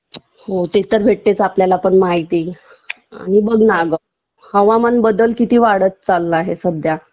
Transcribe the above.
हो ते तर भेटतेच आपल्याला पण माहिती आणि बघ ना अगं हवामान बदल किती वाढत चालला आहे सध्या